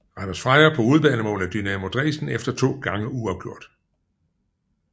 Randers Freja på udebanemål af Dynamo Dresden efter to gange uafgjort